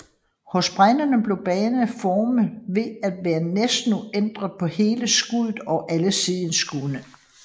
Hos bregnerne bliver bladenes form ved med at være næsten uændret på hele skuddet og alle sideskud